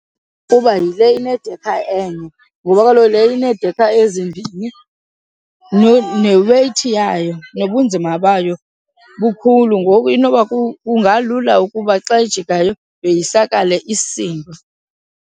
Ukuba yile inedekha enye ngoba kaloku le ineedekha ezimbini neweyithi yayo, nobunzima bayo bukhulu, ngoku inoba kungalula ukuba xa ijikayo yoyisakale isindwe.